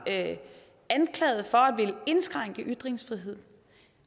anklaget for at ville indskrænke ytringsfriheden